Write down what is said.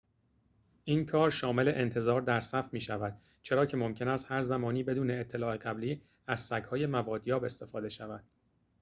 این کار شامل انتظار در صف می‌شود چرا که ممکن است هرزمانی بدون اطلاع قبلی از سگ‌های موادیاب استفاده شود